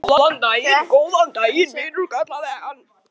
Góðan daginn, vinur kallaði hann.